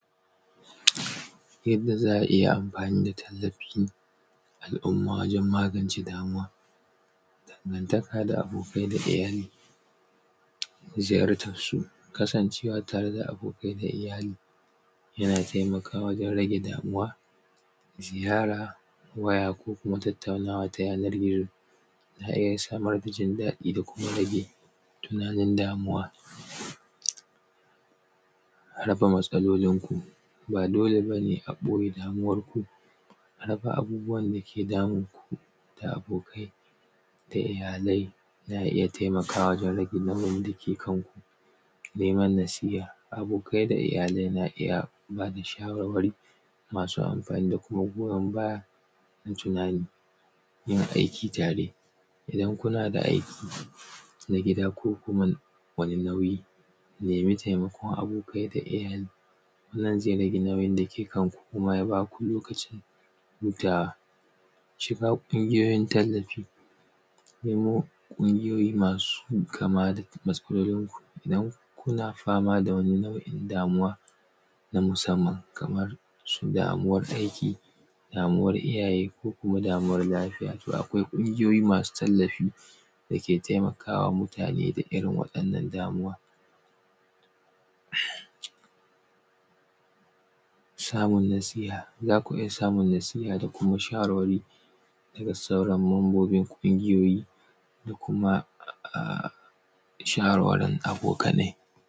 Yadda za a iya amfani da tallafi al’umma wajen magance damuwa, dangantaka da abokai da iyali. Ziyar tan su, kasancewa tare da abokai da iyali, yana taimakawa wajen rage damuwa. Ziyara waya ko kuma tattaunawa ta yanar gizo. Za a iya samar da jin daɗi da kuma rage tunanin damuwa.. raba matsalolinku ba dole ba ne a ɓoye damuwar ku,, a rufe abubuwan da ke damunku da abokai da iyalai, za a iya rage nauyin da ke kanku., neman nasiya abokai da iyalai na iya ba da shawarwari masu amfaini da kima goyan baya. na tunani. Yin aiki tare, idan kuna da aiki na gida ko kuma wani nauyi, nemi taimakon abokai da iyali zai rage nauyin da ke kanku kuma ya ba ku lokaci hutawa. Shiga ƙungiyoyi tallafi, nemo ƙungiyoyi masu kama da matsalolinku, idan kuna fama da wani damuwa na musamman Kaman su damuwar aiki, anuwar iyaye ko kuma damuwar lafiya. To akwai ƙungiyoyi masu tallafi da ke taimakawa mutane da irin wannan damuwan. Samun nasiha, za ku iya samun nasiha da shawarwari da sauran mambobin ƙungiyoyi, kuma ahh shawarwari abokanai